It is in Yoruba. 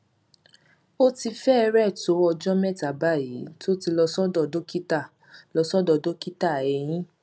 ó ti fẹrẹẹ tó ọjọ mẹta báyìí tó ti lọ sọdọ dókítà lọ sọdọ dókítà eyín